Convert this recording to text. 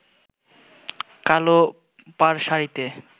কালো পাড় শাড়িতে